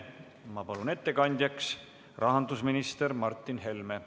Ma palun ettekandjaks rahandusminister Martin Helme.